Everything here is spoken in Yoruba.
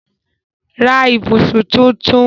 Ra ibùsùn tunrun